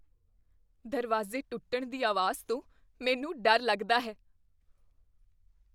ਦਰਵਾਜ਼ੇ ਟੁੱਟਣ ਦੀ ਆਵਾਜ਼ ਤੋਂ ਮੈਨੂੰ ਡਰ ਲੱਗਦਾ ਹੈ।